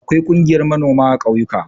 Akwai ƙungiyar manoma a ƙauyuka.